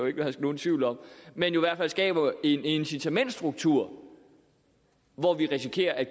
ikke herske nogen tvivl om men i hvert fald skaber en incitamentstruktur hvor vi risikerer at